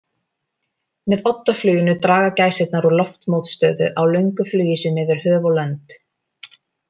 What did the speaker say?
Með oddafluginu draga gæsirnar úr loftmótstöðu á löngu flugi sínu yfir höf og lönd.